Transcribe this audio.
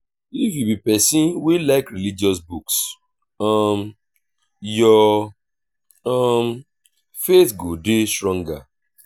if you be pesin wey like religious books um your um faith go dey stronger.